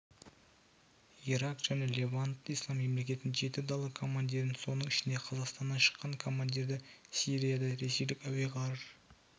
ирак және левант ислам мемлекетінің жеті дала командирін соның ішінде қазақстаннан шыққан командирді сирияда ресейлік әуе-ғарыш